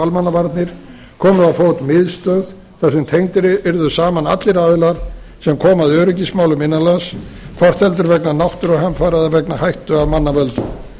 almannavarnir komið á fót miðstöð þar sem tengdir yrðu saman allir aðilar sem koma að öryggismálum innan lands hvort heldur vegna náttúruhamfara eða vegna hættu af mannavöldum